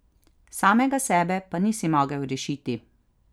Samega sebe pa nisi mogel rešiti.